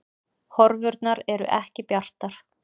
Horfurnar eru ekki bjartar